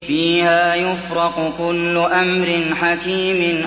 فِيهَا يُفْرَقُ كُلُّ أَمْرٍ حَكِيمٍ